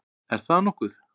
Er það nokkuð?